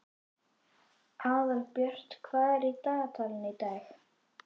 Aðalbjört, hvað er í dagatalinu í dag?